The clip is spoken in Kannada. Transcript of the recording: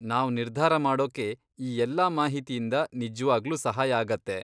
ನಾವ್ ನಿರ್ಧಾರ ಮಾಡೋಕೆ ಈ ಎಲ್ಲಾ ಮಾಹಿತಿಯಿಂದ ನಿಜವಾಗ್ಲೂ ಸಹಾಯ ಆಗತ್ತೆ.